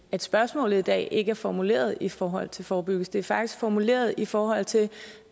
at spørgsmålet i dag ikke er formuleret i forhold til forebyggelse det er faktisk formuleret i forhold til